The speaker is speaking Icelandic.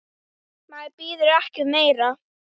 Maður biður ekki um meira.